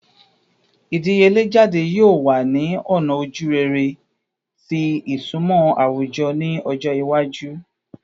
Idiyele jade yoo wa ni ọna ojurere ti isunmọ awujọ ni ọjọ iwaju